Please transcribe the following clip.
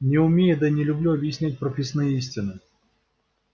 не умею да и не люблю объяснять прописные истины